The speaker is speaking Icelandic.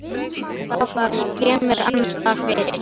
Þá það, ég kem mér annarsstaðar fyrir.